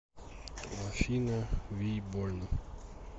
афина ви больно